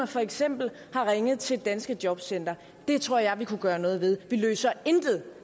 for eksempel har ringet til det danske jobcenter det tror jeg vi kunne gøre noget ved vi løser intet